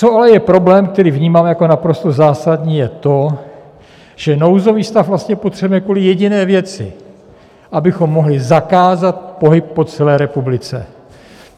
Co ale je problém, který vnímám jako naprosto zásadní, je to, že nouzový stav vlastně potřebujeme kvůli jediné věci - abychom mohli zakázat pohyb po celé republice.